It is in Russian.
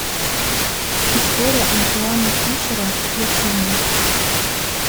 история антуана фишера включи мне